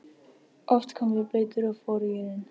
Oft komum við blautir og forugir inn.